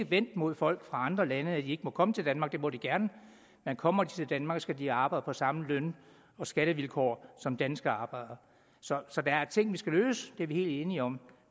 vendt mod folk fra andre lande at de ikke må komme til danmark det må de gerne men kommer de til danmark skal de arbejde på samme løn og skattevilkår som danske arbejdere så så der er ting vi skal løse og det er vi helt enige om